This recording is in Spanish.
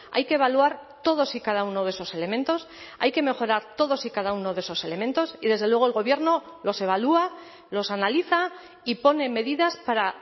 hay que evaluar todos y cada uno de esos elementos hay que mejorar todos y cada uno de esos elementos y desde luego el gobierno los evalúa los analiza y pone medidas para